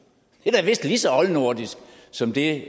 det er da vist lige så oldnordisk som det